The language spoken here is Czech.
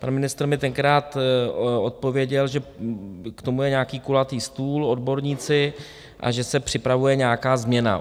Pan ministr mi tenkrát odpověděl, že k tomu je nějaký kulatý stůl, odborníci a že se připravuje nějaká změna.